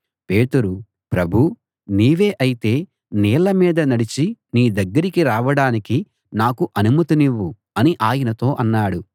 పేతురు ప్రభూ నీవే అయితే నీళ్ల మీద నడిచి నీ దగ్గరికి రావడానికి నాకు అనుమతినివ్వు అని ఆయనతో అన్నాడు